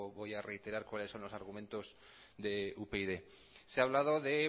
voy a reiterar cuáles son los argumentos de upyd se ha hablado de